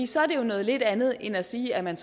så er det jo noget lidt andet end at sige at man